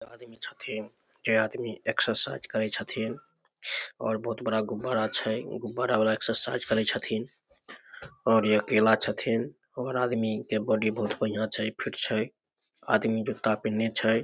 ऐ आदमी छथिन ए आदमी एक्सरसाइज करै छथिन और बहुत बड़ा गुब्बारा छै उ गुब्बारा वाला एक्सरसाइज करै छथिन और ये केला छथिन और आदमी के बॉडी बहुत बढियाँ छै फिट छै आदमी जूता पिननेह छै।